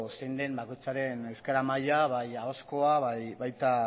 zein den bakoitzaren euskara maila bai ahozkoa eta baita